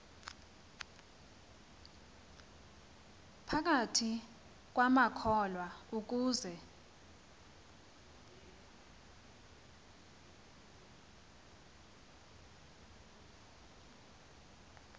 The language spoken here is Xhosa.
phakathi kwamakholwa ukuze